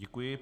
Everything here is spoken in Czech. Děkuji.